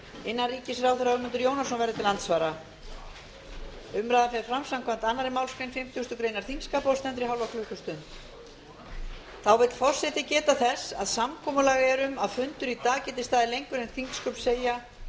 innanríkisráðherra ögmundur jónasson verður til andsvara umræðan fer fram samkvæmt annarri málsgrein fimmtugustu grein þingskapa og stendur í hálfa klukkustund þá vill forseti geta þess að samkomulag er um að fundur í dag geti staðið lengur en þingsköp segja